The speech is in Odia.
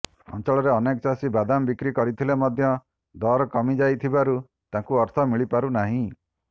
ଅଞ୍ଚଳରେ ଅନେକ ଚାଷୀ ବାଦାମ ବିକ୍ରି କରିଥିଲେ ମଧ୍ୟ ଦର କମିଯାଇଥିବାରୁ ତାଙ୍କୁ ଅର୍ଥ ମିଳି ପାରୁନାହିଁ